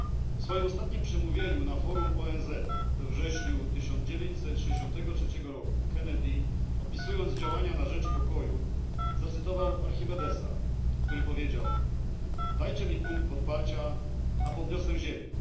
W swoim ostatnim przemówieniu na forum ONZ, we wrześniu 1963 roku, Kennedy, opisując działania na rzecz pokoju, zacytował Archimedesa, który powiedział Dajcie mi punkt podparcia, a podniosę Ziemię.